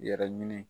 Yɛrɛ ɲini